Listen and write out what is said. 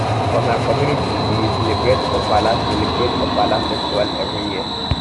for my community we dey celebrate ofala celebrate ofala festival every year